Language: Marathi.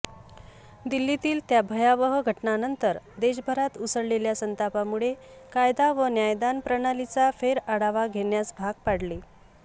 दिल्लीतील त्या भयावह घटनेनंतर देशभरात उसळलेल्या संतापामुळे कायदा व न्यायदान प्रणालीचा फेरआढावा घेण्यास भाग पाडले